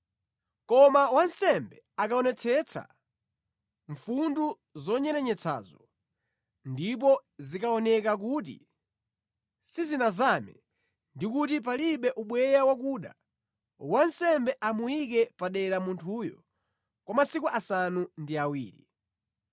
Koma wansembe akaonetsetsa mfundu zonyerenyetsazo, ndipo zikaoneka kuti sizinazame ndi kuti palibe ubweya wakuda, wansembe amuyike padera munthuyo kwa masiku asanu ndi awiri.